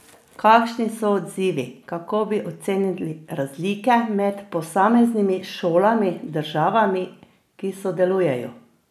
Kakšni so odzivi, kako bi ocenili razlike med posameznimi šolami, državami, ki sodelujejo?